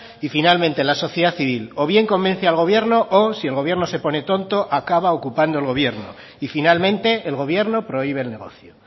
y finalmente la sociedad civil o bien convence al gobierno o si el gobierno se pone tonto acaba ocupando el gobierno y finalmente el gobierno prohíbe el negocio